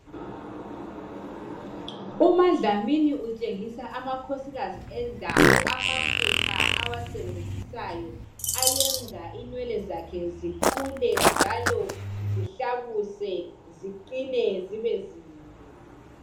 Umadlamini utshengisa amakhosikazi endawo amafutha awasebenzisayo ayenza inwele zakhe zikhule njalo zihlabuse ziqinie zibe zinde .